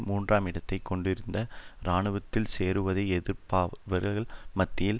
மூன்றாம் இடத்தையும் கொண்டிருந்தன இராணுவத்தில் சேருவதை எதிர்ப்பவர்கள் மத்தியில்